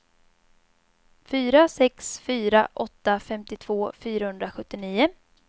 fyra sex fyra åtta femtiotvå fyrahundrasjuttionio